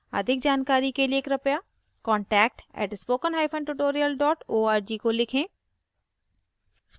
• अधिक जानकारी के लिए कृपया contact @spokentutorial org को लिखें